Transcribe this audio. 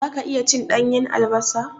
Zaka iya cin ɗanyan albasa?